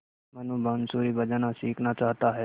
मनु बाँसुरी बजाना सीखना चाहता है